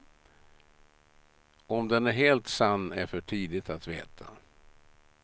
Om den är helt sann är för tidigt att veta.